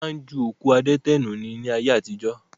Wọn máa ń ju òkú adẹ́tẹ̀ nù ni ayé àtijọ́